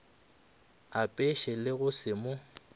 apeše le go se mo